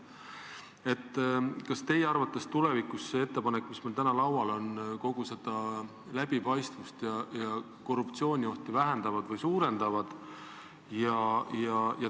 Kas teie arvates see ettepanek, mis meil täna laual on, tulevikus seda läbipaistvust ja korruptsiooniohtu vähendab või suurendab?